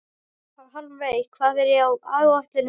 Hjálmveig, hvað er á áætluninni minni í dag?